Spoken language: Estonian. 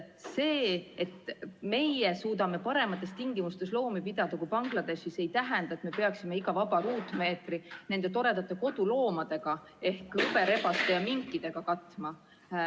See, et meie suudame paremates tingimustes loomi pidada kui Bangladeshis, ei tähenda, et me peaksime iga vaba ruutmeetri nende toredate loomadega ehk hõberebaste ja minkidega katma.